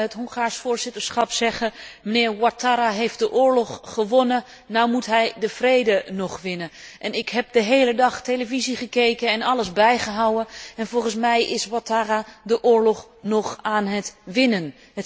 Ik hoorde het Hongaars voorzitterschap zeggen mijnheer Ouattara heeft de oorlog gewonnen, nu moet hij de vrede nog winnen. Ik heb de hele dag televisie gekeken en alles bijgehouden en volgens mij is Ouattara de oorlog nog aan het winnen.